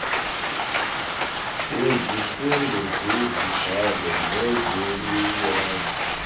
bezifundo zezibalo nenzululwazi